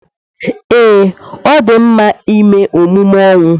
Ee, ọ dị mma ịme emume ọnwụ.